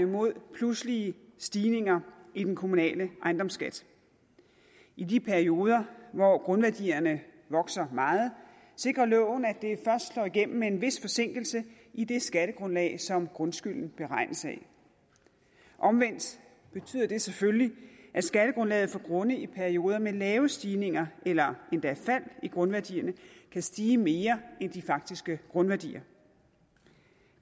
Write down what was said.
mod pludselige stigninger i den kommunale ejendomsskat i de perioder hvor grundværdierne vokser meget sikrer loven at det først slår igennem med en vis forsinkelse i det skattegrundlag som grundskylden beregnes af omvendt betyder det selvfølgelig at skattegrundlaget for grunde i perioder med lave stigninger eller endda fald i grundværdierne kan stige mere end de faktiske grundværdier